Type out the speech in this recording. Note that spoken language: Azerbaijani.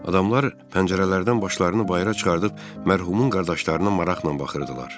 Adamlar pəncərələrdən başlarını bayıra çıxardıb mərhumun qardaşlarına maraqla baxırdılar.